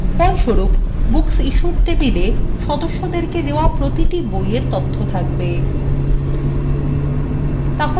ফলস্বরূপ booksissued tablea সদস্যদেরকে দেওয়া প্রতিটি বইএর তথ্য থাকবে